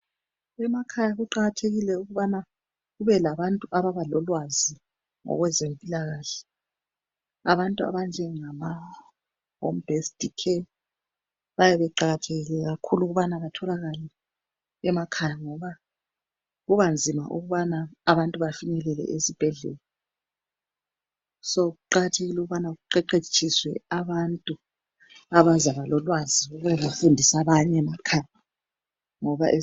emakhaya kuqakathekile ukuthi kube labantu abalolwazi ngokwezempilakahle, abantu abanje ngama home based care kuyabe kuqakathekile ukuba batholakale emakhaya ngoba kubanzima ukuba abantu bafike esibhedlela sokuqakathekile ukuthi kuqeqetshiswe abantu abazaba lolwazi ukuba bafundisa abanye emakhaya.